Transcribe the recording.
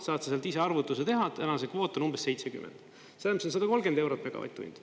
Saad sa sealt ise arvutuse teha, täna see kvoot on umbes 70, see on 130 eurot megavatt-tund.